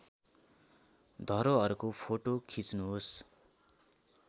धरोहरको फोटो खिच्नुहोस्